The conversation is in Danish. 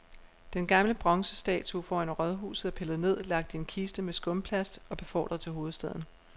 Den gamle bronzestatue foran rådhuset er pillet ned, lagt i en kiste med skumplast og befordret til hovedstaden.